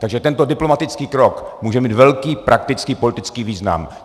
Takže tento diplomatický krok může mít velký praktický politický význam.